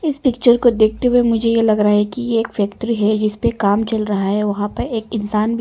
इस पिक्चर को देखते हुए मुझे ये लग रहा है कि एक फैक्ट्री है जिस पर काम चल रहा है वहां पर एक इंसान भी--